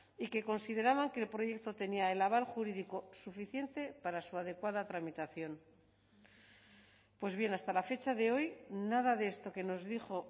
y que consideraban que el proyecto tenía el aval jurídico suficiente para su adecuada tramitación pues bien hasta la fecha de hoy nada de esto que nos dijo